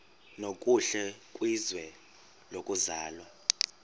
nokuhle kwizwe lokuzalwa